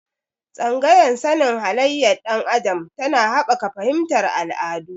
Tsangayar sani halayyar ɗan adam tana haɓaka fahimtar al'adu.